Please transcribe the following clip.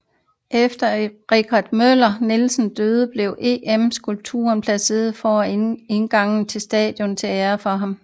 Efter Richard Møller Nielsens død blev EM skulpturen placeret foran indgangen til stadionet til ære for ham